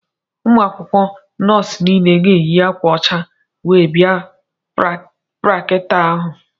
Ụmụ akwụkwọ nọọsụ niile ga-eyi akwa ọcha wee bia praktikal ahụ.